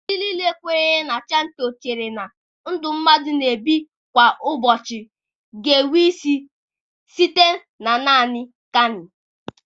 Ndị kwenyere na Shịnto chere na ndụ mmadụ na-ebi kwa ụbọchị ga-enwe isi site na nanị Kami.